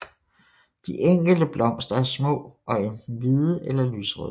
De enkelte blomster er små og enten hvide eller lyserøde